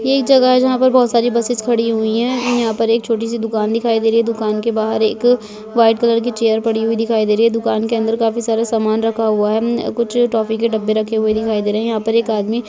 ये एक जगह है जहा पर बहुत सारी बसइस खड़ी हुई हैं यहाँ पर एक छोटी-सी दुकान दिखाई दे रही है दुकान के बाहर एक वाइट कलर की चेयर पड़ी हुई दिखाई दे रही है दुकान के अंदर काफी सारा सामान रखा हुआ हैं ऍम कुछ टॉफ़ी के डब्बे रखे हुए दिखाई दे रहे हैं यहा पर एक आदमी--